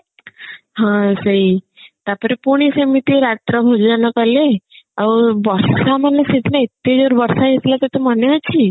ହଁ ସେଇ ତାପରେ ପୁଣି ସେମିତି ରାତ୍ର ଭୋଜନ କଲେ ଆଉ ବର୍ଷ ମାନେ ସେଦିନ ଏତେ ଜୋରେ ବର୍ଷା ହଉଥିଲା ତତେ ମନେ ଅଛି